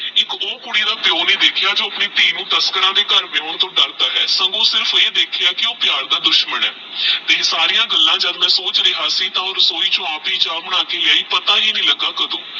ਏਕ ਓਹ ਕੁੜੀ ਦਾ ਪਿਓ ਨਹੀ ਦੇਖ੍ਯਾ ਜੋ ਆਪਣੀ ਧੀ ਨੂ ਤਸਕਰਾਂ ਦੇ ਘਰ ਵਿਆਉਣ ਤੋਂ ਡਰਦਾ ਆਹ ਸੰਗੋ ਸਿਰਫ ਅਹਿ ਦੇਖ੍ਯਾ ਕਿ ਉਹ ਪ੍ਯਾਰ ਦਾ ਦੁਸ਼ਮਨ ਆਹ ਤੇ ਓਹ ਸਰਿਯਾ ਗੱਲਾਂ ਜਦ ਮੈ ਸੋਚ ਰਿਯਾ ਸੀ ਤੇਹ ਓਹ ਰਸੋਈ ਚੋ ਆਪ ਹੀ ਚਾ ਬਣਾ ਕ ਲਾਇ ਪਤਾ ਹੀ ਨਹੀ ਲੱਗਾ ਕਦੋ